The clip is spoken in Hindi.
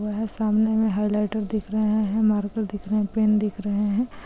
वह सामने में हाइलाइटर दिख रहे है मारकर दिख रहे है पेन दिख रहे है।